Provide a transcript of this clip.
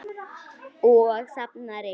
Og safna ryki.